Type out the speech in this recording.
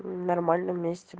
нормально вместе